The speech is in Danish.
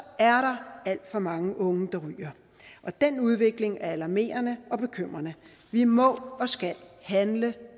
der alt for mange unge der ryger den udvikling er alarmerende og bekymrende vi må og skal handle